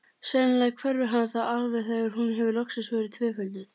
Sennilega hverfur hann þá alveg þegar hún hefur loksins verið tvöfölduð.